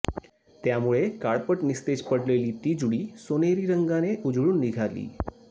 त्यामुळे काळपट निस्तेज पडलेली ती जुडी सोनेरी रंगाने उजळून निघाली